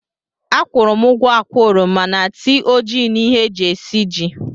Akwụụrụ m ugwo ákwà oroma na tii ojii na ihe e ji esiji